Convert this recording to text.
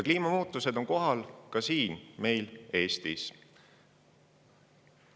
Kliimamuutused on kohal ka meil siin Eestis.